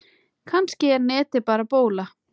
Kannski er netið bara bóla.